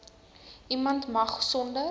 niemand mag sonder